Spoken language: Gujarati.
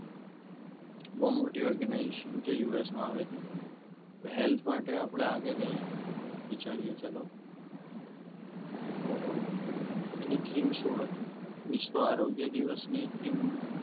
બહુ મોટી organisation છે યુએસએ માં આવેલી હેલ્થ માટે આપણે આગળ વિચારીએ ચાલો તો એની એની fix હોય વિશ્વા આરોગ્ય દિવસની